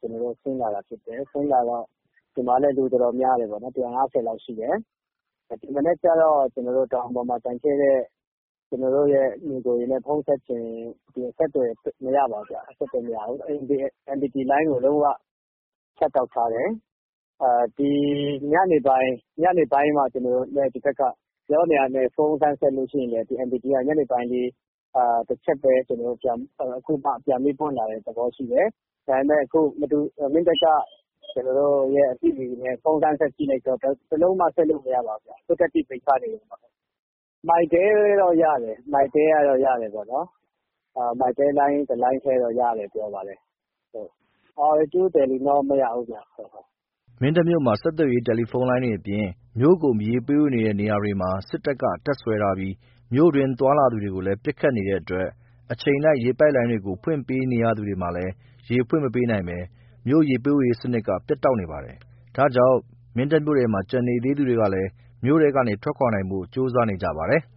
ဆင်းလာတာဖြစ်တယ်။ ဆင်းလာတော့ ဒီမှာလည်း လူတော်တော်များတယ်ပေါ့နော်။ ၁၅၀ လောက်ရှိတယ်။ မနက်ကျတော့ တောင်ပေါ်မှာရှိတဲ့ ကျွန်တော်တို့ညီအကိုတွေနဲ့ ဖုန်းအဆက်အသွယ် လုပ်တော့ အဆက်အသွယ်မရပါဘူးခင်ဗျ။ MPTလိုင်းကို လုံး၀ ဖြတ်တောက်ာထားတယ်။ ညနေပိုင်းတော့ ယောနယ်ကနေ ဖုန်းလှမ်းဆက်လို့ရှိရင် ညနေပိုင်းလေး တချက်ပြန်ပွင့်လာတဲ့ သဘောရှိတယ်။ မင်းတပ်က အသိတွေဆီဖုန်းလှမ်း ဆက်တော့ တလုံးမှ ဆက်လို့မရပါဘူးခင်ဗျ။ အခုထက်ထိပိတ်ထားတယ်။ Mytel တော့ရတယ်ပေါ့နော်။ Mytel တလိုင်းပဲရတယ်ပြောပါတယ်။ အော်ရီဒူး တယ်လီနောတော့မရပါဘူးခင်ဗျ။” မင်းတပ်မြို့မှာ ဆက်သွယ်ရေးဖုန်းလိုင်းတွေအပြင် မြို့ကို ရေပေးဝေတဲ့ နေရာတွေမှာ စစ်တပ်တွေ တပ်စွဲ ထားပြီး မြို့တွင်းသွားလာသူတွေကို ပစ်ခတ်နေတဲ့အတွက် အချိန်လိုက် ရေပိုက်လိုင်းတွေ ဖွင့်ပေးနေရသူတွေမှာလဲ ရေမပေးနိုင်ဘဲ မြို့ရေပေးဝေရေးစနစ်က ပြတ်တောက်နေပါတယ်။ ဒါကြောင့် မင်းတပ်မြို့ထဲမှာ ကျန်နေသေးသူတွေကလည်း မြို့ထဲကနေ ထွက်သွားနိုင်ဖို့ ကြိုးစားနေကြပါတယ်။